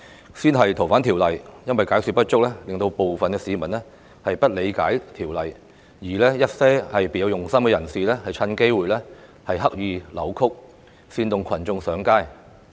首先是修訂《逃犯條例》，由於解說不足，導致部分市民不理解修例建議，而一些別有用心人士則藉此機會刻意扭曲，煽動群眾上街。